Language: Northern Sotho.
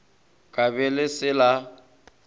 ka be le se la